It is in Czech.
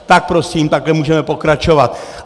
Tak prosím, takhle můžeme pokračovat.